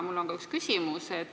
Mul on ka üks küsimus.